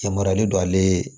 Yamaruyalen don ale ye